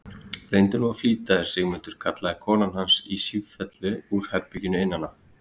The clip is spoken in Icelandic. Reyndu nú að flýta þér, Sigmundur, kallaði konan hans í sífellu úr herberginu innan af.